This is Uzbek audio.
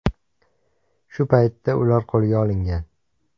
Shu paytda ular qo‘lga olingan.